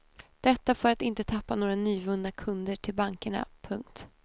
Detta för att inte tappa några nyvunna kunder till bankerna. punkt